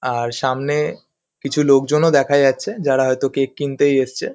আর সামনে কিছু লোকজনও দেখা যাচ্ছে. যারা হয়তো কেক কিনতেই এসছে ।